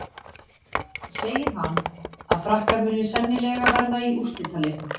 Þá segir hann að Frakkar muni sennilega verða í úrslitaleiknum.